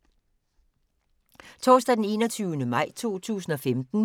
Torsdag d. 21. maj 2015